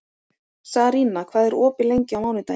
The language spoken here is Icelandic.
Sarína, hvað er opið lengi á mánudaginn?